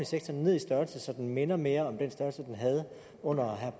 sektor ned i størrelse så den minder mere om den størrelse den havde under